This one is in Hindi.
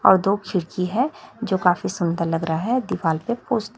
और दो खिड़की है जो काफी सुंदर लग रहा है दीवाल पे पोस--